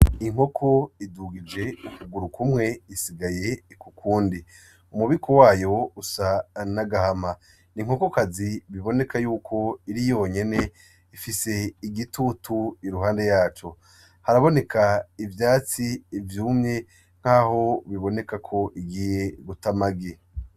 Inkoko idugije ukuguru kumwe isigaye ku kundi. Umubiko wayo usa n’agahama. N’inkokokazi biboneka yuko iri yonyene ifise igitutu iruhande yaco , haraboneka ivyatsi vyumye nkaho biboneka ko igiye guta amagi.